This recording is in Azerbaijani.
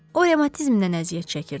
O revmatizmdən əziyyət çəkirdi.